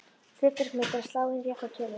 Hlutverk mitt er að slá inn réttar tölur.